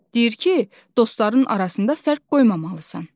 Deyir ki, dostların arasında fərq qoymamalısan.